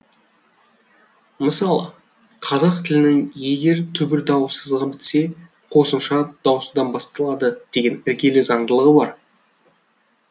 мысалы қазақ тілінің егер түбір дауыссызға бітсе қосымша дауыстыдан басталады деген іргелі заңдылығы бар